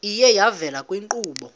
iye yavela kwiinkqubo